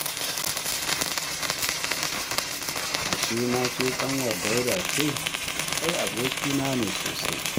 Ashe ma ke ƙanwar Dauda ce. Ai abokina ne sosai